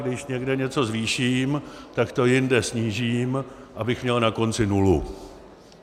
Když někde něco zvýším, tak to jinde snížím, abych měl na konci nulu.